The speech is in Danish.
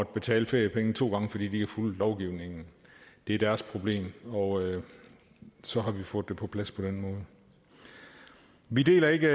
betale feriepenge to gange fordi de ikke har fulgt lovgivningen det er deres problem og så har vi fået det på plads på den måde vi deler ikke